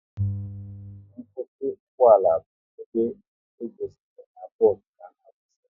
Nkwụsị ugboala bụ ebe edoziri n'bos ga na-akwụsị